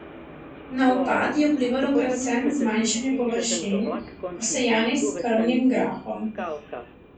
Na upad je vplivalo predvsem zmanjšanje površin, posejanih s krmnim grahom.